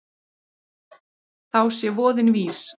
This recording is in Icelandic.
Þá sé voðinn vís.